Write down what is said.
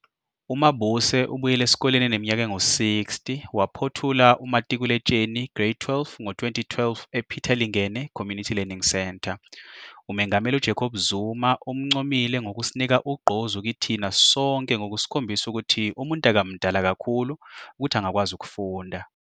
UMabuse ubuyele esikoleni eneminyaka engu-60, waphothula umatikuletsheni, grade 12, ngo-2012 ePeter Lengene Community Learning Centre. UMengameli Jacob Zuma umncomile ngokusinika "ugqozi kithina sonke ngokusikhombisa ukuthi umuntu akamdala kakhulu ukuthi angakwazi ukufunda".